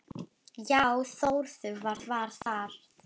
Já Þórður, hvað var það?